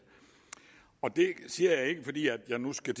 og det siger jeg ikke fordi jeg nu skal